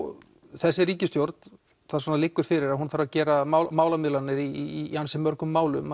þessi ríkisstjórn það svona liggur fyrir að hún þarf að gera málamiðlanir í ansi mörgum málum